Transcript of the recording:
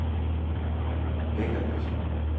Væggerløse